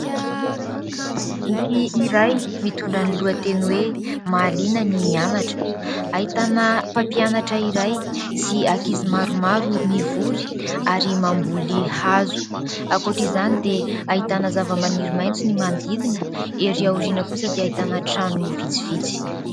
Boky iray mitondra ny lohateny hoe : "mahaliana ny mianatra" ahitana mpampianatra iray sy ankizy maromaro mivory ary mamboly hazo, ankoatra izany dia ahitana zavamaniry maitso ny manodidina, ery aoriana kosa dia ahitana trano vitsivitsy.